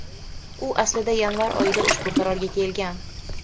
U aslida yanvar oyida ushbu qarorga kelgan.